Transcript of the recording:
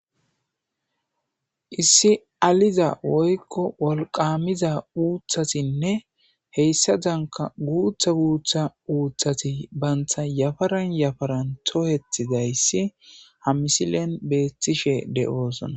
Issi aliza woykko wolqamiza uuthatinne heyssa danka guutha guutha uuththati bantha yafaran yafaran tohethi dayssi ha misilen beeththishe de'oosona.